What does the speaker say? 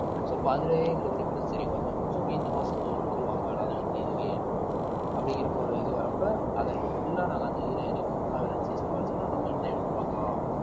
so இப்ப அதுலயே எங்களுக்கு difference தெரியும் கொஞ்சம் so இந்த மாசம் இந்த ஒரு பொருள் வாங்க வேணாம் அது வீட்டிலேயே இருக்கு அப்படிங்கிறப்ப ஒரு இது வர்றப்ப அத நம்ம full ஆ நாங்க அந்த இதுல இறங்கி full ஆ விளைச்சு சம்பாதிச்சோம்ன்னா நம்ம இன்னும் எவ்வளவு பார்க்கலாம்